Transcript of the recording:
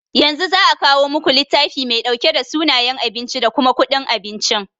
Yanzu za'a kawo muku littafi mai ɗauke da sunayen abinci da kuma kuɗin abincin.